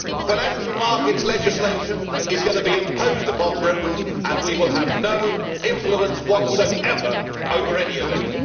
Financial markets legislation is going to be imposed upon Britain and we will have no influence whatsoever over any of it.